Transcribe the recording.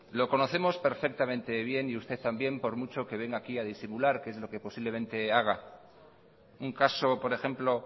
lo conocemos perfectamente bien y usted también por mucho que venga aquí a disimular que es lo que posiblemente haga un caso por ejemplo